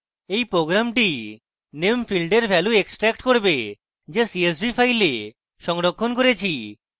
এই program name field এর value extract করবে যা csv file সংরক্ষণ করেছি